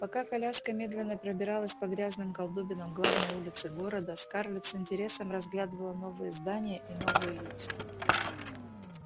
пока коляска медленно пробиралась по грязным колдобинам главной улицы города скарлетт с интересом разглядывала новые здания и новые лица